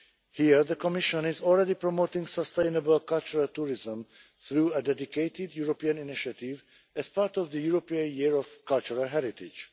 Here the Commission is already promoting sustainable cultural tourism through a dedicated European initiative as part of the European Year of Cultural Heritage.